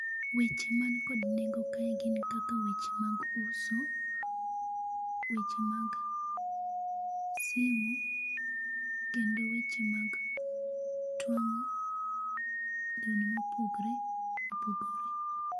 Weche man kod nengo kae gin kaka weche mag uso ,weche mag simu kendo weche mag twango lewni ma opogore opogore